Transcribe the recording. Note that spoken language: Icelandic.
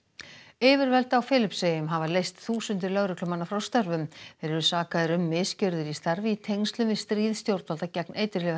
yfirvöld á Filippseyjum hafa leyst þúsundir lögreglumanna frá störfum þeir eru sakaðir um misgjörðir í starfi í tengslum við stríð stjórnvalda gegn